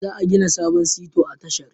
Za a gina sabon Sito a tashar